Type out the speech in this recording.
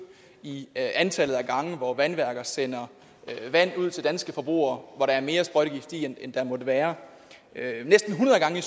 i antallet af gange hvor vandværker sendte vand ud til danske forbrugere hvor der var mere sprøjtegift i end der måtte være næsten hundrede gange